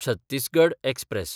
Chhattisgarh express